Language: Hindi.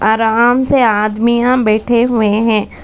आराम से आदमिया बैठे हुए हैं।